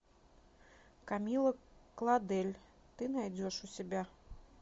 камилла клодель ты найдешь у себя